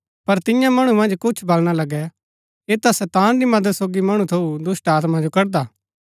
पर तियां मणु मन्ज कुछ वलणा लगै ऐह ता शैतान री मदद सोगी मणु थऊँ दुष्‍टात्मा जो कड़दा